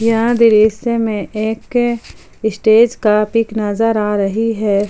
यहां दृश्य में एक स्टेज का पिक नजर आ रही है।